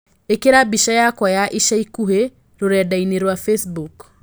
Īkĩira mbĩca yakwa ya ĩca ĩkũhĩ rũredainĩ rwa Facebook